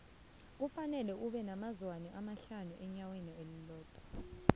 kufanele abe nabo zwane abahlanu inyawo linye